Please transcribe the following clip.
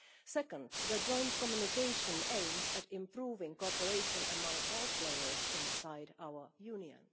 Secondly, the joint communication aims at improving cooperation among all players inside our Union.